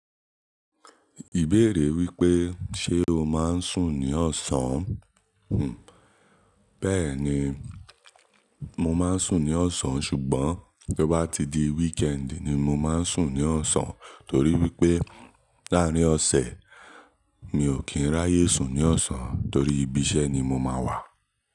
Ìbéèrè wípé ṣe o máa ń sùn ní ọ̀sán? Hmn, bẹ́ẹ̀ni mo máa ń sùn ní ọ̀sán ṣùgbọ́n bí ó bá ti di wíkẹ́ẹ̀dì ni mo máa ń sùn ní ọ̀sán torí wípé láàrín ọ̀sẹ̀ mi ò kí ń ráyè sùn ní ọ̀sán torí ibi iṣẹ́ ni mo máa wà.